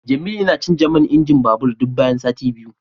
Jemilu yana canza man injin babur duk bayan sati biyu